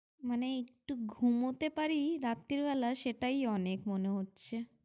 মানে একটু ঘুমোতে পারি রাত্রিবেলা সেটাই অনেক মনে হচ্ছে।